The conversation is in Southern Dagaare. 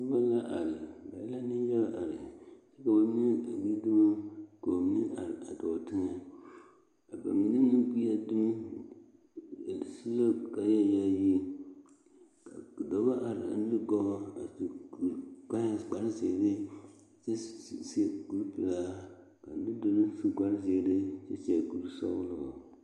Noba la are ba e la nenyaɡa a are kyɛ ka ba mine ɡbi dumo ka ba mine a dɔɔ teŋɛ a mine na ɡbi a dumo su la kaayayaayiri ka dɔbɔ are a nuɡɔɔ a su kparziiri kyɛ seɛ kurpelaa ka a nudoloŋ su kparziiri a seɛ kursɔɡelɔ.